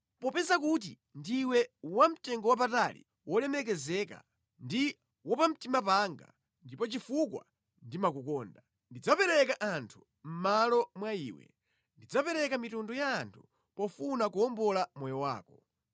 Popeza kuti ndiwe wamtengowapatali wolemekezeka ndi wapamtima panga, ndipo chifukwa ndimakukonda, ndidzapereka anthu mʼmalo mwa iwe, ndidzapereka mitundu ya anthu pofuna kuwombola moyo wako.